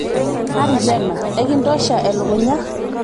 natito ena ekitosha elukunya